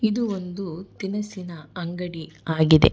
ಇದು ಒಂದು ತಿನಸಿನ ಅಂಗಡಿ ಆಗಿದೆ.